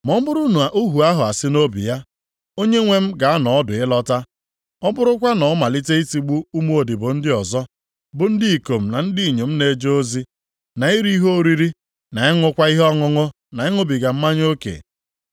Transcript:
Ma ọ bụrụ na ohu ahụ asị nʼobi ya, ‘Onyenwe m na-anọ ọdụ ịlọta,’ ọ bụrụkwa na ọ malite itigbu ụmụodibo ndị ọzọ, bụ ndị ikom na ndị inyom na-eje ozi, na iri ihe oriri, na ịṅụkwa ihe ọṅụṅụ na ịṅụbiga mmanya oke.